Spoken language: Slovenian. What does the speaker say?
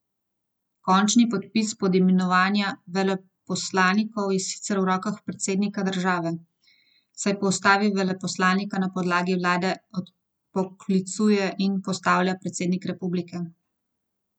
Končni podpis pod imenovanja veleposlanikov je sicer v rokah predsednika države, saj po ustavi veleposlanike na predlog vlade odpoklicuje in postavlja predsednik republike.